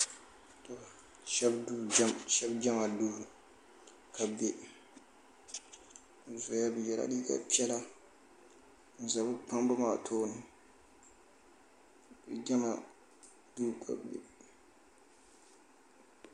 shɛbi jama do be doya be yɛla liga piɛla n za be kpabimaa tuuni jama do ka be bɛ